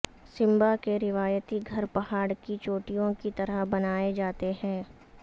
سمبا کے روایتی گھر پہاڑ کی چوٹیوں کی طرح بنائے جاتے ہیں